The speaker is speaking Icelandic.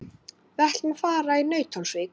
Við ætlum að fara í Nauthólsvík.